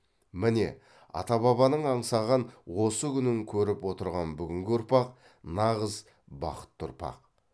міне ата бабаның аңсаған осы күнін көріп отырған бүгінгі ұрпақ нағыз бақытты ұрпақ